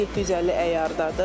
750 əyardadır.